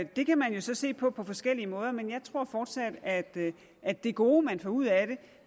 det kan man jo så se på på forskellige måder men jeg tror fortsat at at det gode man får ud af det